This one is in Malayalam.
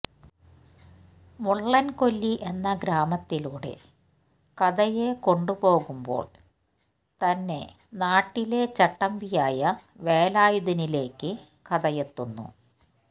മുള്ളന് കൊല്ലി എന്ന ഗ്രാമത്തിലൂടെ കഥയെ കൊണ്ടുപോകുമ്പോള് തന്നെനാട്ടിലെ ചട്ടമ്പിയായ വേലായുധനിലേക്ക് കഥയെത്തുന്നു